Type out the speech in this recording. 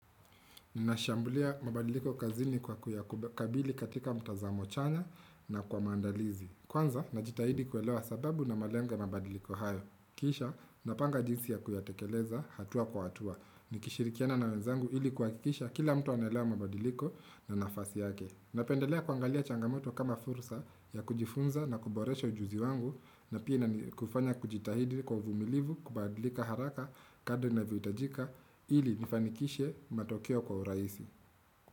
Ninashambulia mabadiliko kazini kwa kuyakabili katika mtazamo chanya na kwa maandalizi. Kwanza, najitahidi kuelewa sababu na malengo ya mabadiliko hayo. Kisha, napanga jinsi ya kuyatekeleza hatua kwa hatua. Nikishirikiana na wenzangu ili kuhakikisha kila mtu anaelewa mabadiliko na nafasi yake. Napendelea kuangalia changamoto kama fursa ya kujifunza na kuboresha ujuzi wangu na pia kufanya kujitahidi kwa vumilivu kubadilika haraka kadri inavyohitajika ili nifanikishe matokeo kwa urahisi.